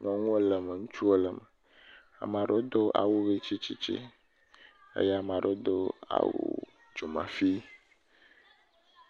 Nyɔnuwo le eme ŋutsiwo le eme. Ame aɖewo do awu ʋi tsitsi eye ame aɖewo do awu dzomafi.